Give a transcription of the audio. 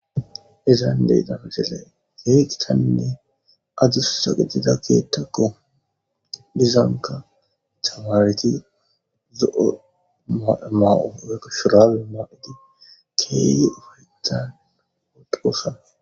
izan deytano geley geeqtaninne adussa qidida keettakko dizanka cawaareti zo7o ma7oekko shurale maa7idi keeye ufaytan woqoosa